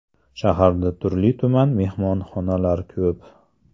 Shaharda turli-tuman mehmonxonalar ko‘p.